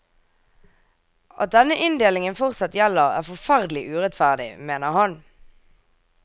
At denne inndelingen fortsatt gjelder, er forferdelig urettferdig, mener han.